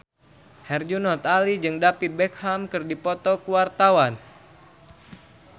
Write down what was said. Herjunot Ali jeung David Beckham keur dipoto ku wartawan